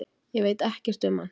Ég veit ekkert um hann